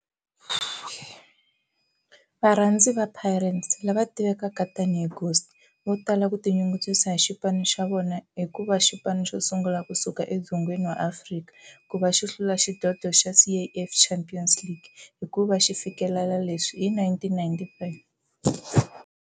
Varhandzi va Pirates, lava tivekaka tani hi Ghost, vatala ku tinyungubyisa hi xipano xa vona kuva xipano xosungula kusuka eDzongeni wa Afrika kuva xi hlula xidlodlo xa Caf Champions League hikuva xifikelele leswi hi 1995.